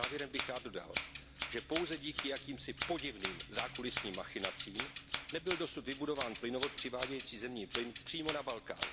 Závěrem bych rád dodal, že pouze díky jakýmsi podivným zákulisním machinacím nebyl dosud vybudován plynovod přivádějící zemní plyn přímo na Balkán.